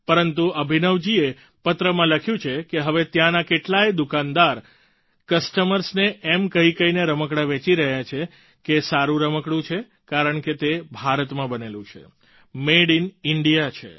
પરંતુ અભિનવજીએ પત્રમાં લખ્યું છે કે હવે ત્યાંના કેટલાય દુકાનદાર કસ્ટમર્સ ને એમ કહીકહીને રમકડાં વેચી રહ્યા છે કે સારું રમકડું છે કારણ કે તે ભારતમાં બનેલું છે મદે આઇએન ઇન્ડિયા છે